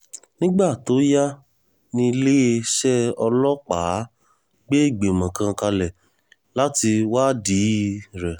nígbà tó yá níléeṣẹ́ ọlọ́pàá gbé ìgbìmọ̀ kan kalẹ̀ láti wádìí rẹ̀